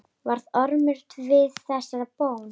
Varð Ormur við þessari bón.